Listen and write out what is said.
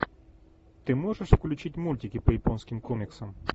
ты можешь включить мультики по японским комиксам